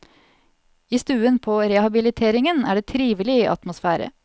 I stuen på rehabiliteringen er det trivelig atmosfære.